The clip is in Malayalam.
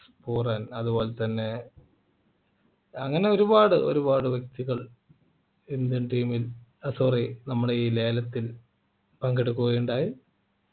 അതുപോലെതന്നെ അങ്ങനെ ഒരുപാട് ഒരുപാട് വ്യക്തികൾ indian team ൽ sorry നമ്മുടെ ഈ ലേലത്തിൽ പങ്കെടുക്കുകയുണ്ടായി